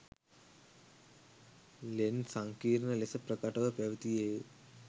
ලෙන් සංකීර්ණ ලෙස ප්‍රකටව පැවතියේ ය.